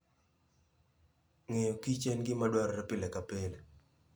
Ngeyo kich en gimadwarore pile kapile.